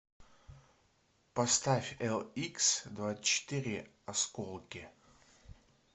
поставь эликсдвадцатьчетыре осколки